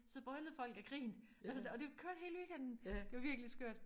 Så brølede folk af grin og så det kørte hele weekenden! Det var virkelig skørt